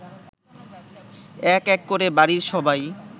এক এক করে বাড়ির সবাই